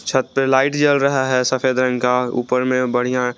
छत पे लाइट जल रहा है सफेद रंग का ऊपर में बढ़िया--